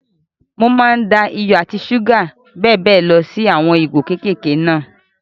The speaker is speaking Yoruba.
Mo máa n da iyọ̀, ṣúgà àti bẹ́ẹ̀ bẹ́ẹ̀ lọ sí nú àwọn ìgò kékèké náà.